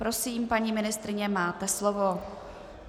Prosím, paní ministryně, máte slovo.